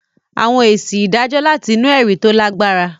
Àwọn èsì ìdájọ́ láti inú ẹ̀rí tó lágbára.